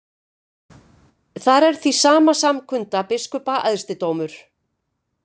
Þar er því samkunda biskupa æðsti dómur.